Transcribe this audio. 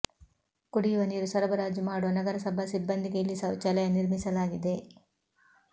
ಕುಡಿಯುವ ನೀರು ಸರಬರಾಜು ಮಾಡುವ ನಗರಸಭಾ ಸಿಬ್ಬಂದಿಗೆ ಇಲ್ಲಿ ಶೌಚಾಲಯ ನಿರ್ಮಿಸಲಾಗಿದೆ